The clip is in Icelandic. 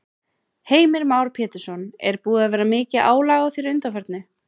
Heimir Már Pétursson: Er búið að vera mikið álag á þér að undanförnu?